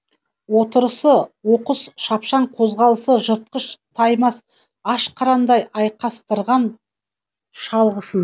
отырысы оқыс шашпаң қозғалысы жыртқыш таймас аш қырандай айқастырған шалғысын